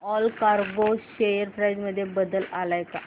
Allcargo share price मध्ये बदल आलाय का